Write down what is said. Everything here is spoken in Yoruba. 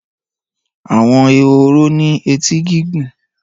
Àwọn ehoro ní etí gígùn.